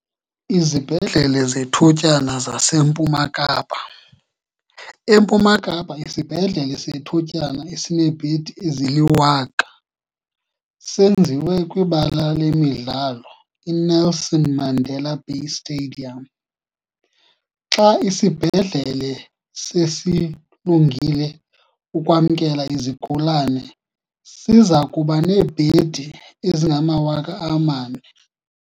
Izibhedlele zethutyana zaseMpuma Kapa. EMpuma Kapa, isibhedlele sethutyana esineebhedi ezili-1 000 senziwe kwibala lemidlalo i-Nelson Mandela Bay Stadium. Xa isibhedlele sesilungile ukwamkela izigulane, siza kuba neebhedi ezingama-4 000.